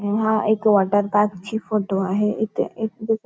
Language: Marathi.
अं हा एक वॉटरपार्क ची फोटो आहे इथे एक दुका--